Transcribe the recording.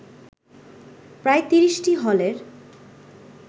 প্রায় ৩০টি হলের